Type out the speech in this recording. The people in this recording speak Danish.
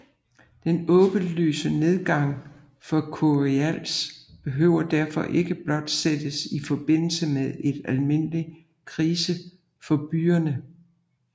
Den åbenlyse nedgang for curiales behøver derfor ikke blot sættes i forbindelse med en almindelig krise for byerne